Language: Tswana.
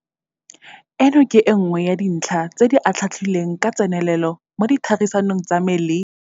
Eno ke e nngwe ya dintlha tse di atlhaatlhilweng ka tsenelelo mo ditherisanong tsa me le.